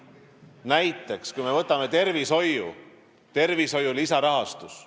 Näiteks võtame tervishoiu: tervishoiu lisarahastus.